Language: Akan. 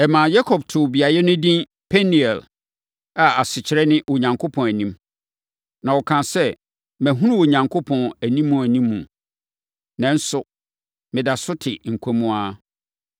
Ɛmaa Yakob too beaeɛ hɔ edin Peniel, a asekyerɛ ne “Onyankopɔn Anim.” Na ɔkaa sɛ, “Mahunu Onyankopɔn animuanimu, nanso meda so te nkwa mu ara.”